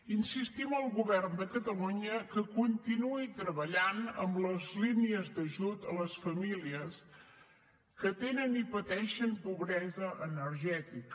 insistim al govern de catalunya que continuï treballant amb les línies d’ajut a les famílies que tenen i pateixen pobresa energètica